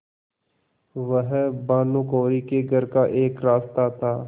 वह भानुकुँवरि के घर का एक रास्ता था